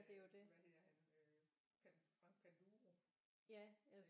Øh hvad hedder han øh Frank Panduro